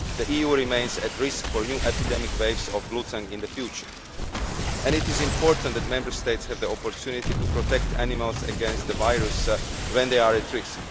The EU remains at risk for new epidemic waves of bluetongue in the future and it is important that Member States have the opportunity to protect animals against the virus when they are at risk.